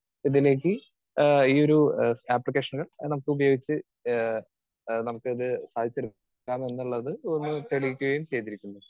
Speaker 2 ഇതിലേക്ക് ആഹ് ഈയൊരു ആപ്ലിക്കേഷൻ നമുക്ക് ഉപയോഗിച്ച് ഏഹ് നമുക്കിത് സാധിച്ചെടുക്കാം എന്നുള്ളത് ഒന്ന് തെളിയിക്കുകയും ചെയ്തിരിക്കുന്നു.